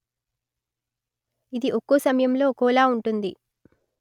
ఇది ఒక్కో సమయంలో ఒక్కోలా ఉంటుంది